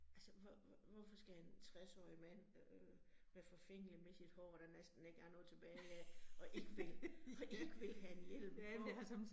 Altså hvorfor skal en 60 årig mand øh være forfængelig med sit hår, der næsten ikke er noget tilbage af, og ikke vil, og ikke vil have en hjelm på